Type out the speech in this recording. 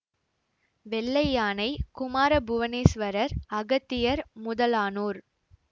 வெள்ளை யானை குமார புவனேசுவரர் அகத்தியர் முதலானோர்